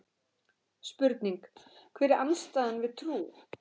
Spurning: Hver er andstæðan við trú?